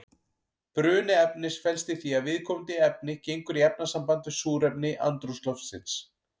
Bruni efnis felst í því að viðkomandi efni gengur í efnasamband við súrefni andrúmsloftsins.